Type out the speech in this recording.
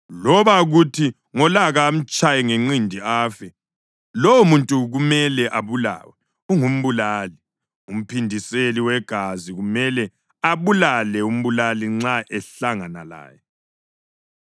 loba kuthi ngolaka amtshaye ngenqindi afe, lowomuntu kumele abulawe; ungumbulali. Umphindiseli wegazi kumele abulale umbulali nxa ehlangana laye.